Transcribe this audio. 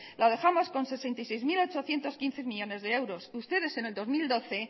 lo dejamos con sesenta y seis mil ochocientos quince millónes de euros ustedes en el dos mil doce